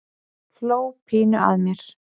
Hló pínu að mér.